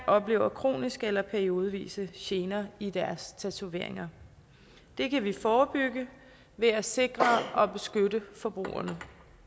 oplever kroniske eller periodevise gener i deres tatoveringer det kan vi forebygge ved at sikre og beskytte forbrugerne